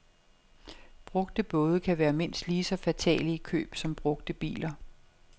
Brugte både kan være mindst lige så fatale i køb som brugte biler.